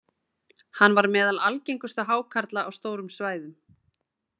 Hann var meðal algengustu hákarla á stórum svæðum.